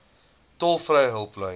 tolvrye hulplyn